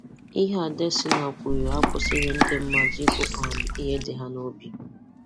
Ihe Adesina kwuru akwụsịghị ndị mmadụ ikwu um ihe dị ha n'obi.